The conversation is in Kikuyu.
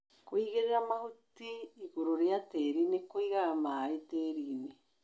Kũigĩrĩra mahuti igũrũ wa tĩri nĩ kũigaga maĩ tĩrinĩ.